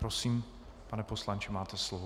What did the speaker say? Prosím, pane poslanče, máte slovo.